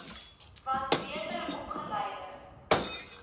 want beter opgeleide